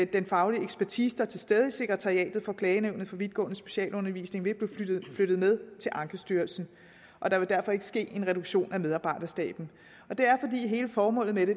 den faglige ekspertise der er til stede i sekretariatet for klagenævnet for vidtgående specialundervisning vil blive flyttet med til ankestyrelsen og der vil derfor ikke ske en reduktion af medarbejderstaben det er fordi hele formålet med det